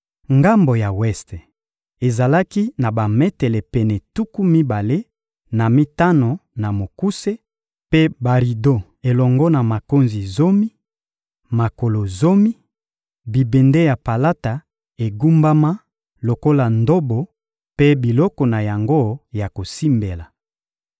Ngambo ya weste ezalaki na bametele pene tuku mibale na mitano na mokuse mpe barido elongo na makonzi zomi, makolo zomi, bibende ya palata egumbama lokola ndobo mpe biloko na yango ya kosimbela.